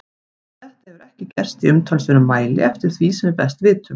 En þetta hefur ekki gerst í umtalsverðum mæli eftir því sem við best vitum.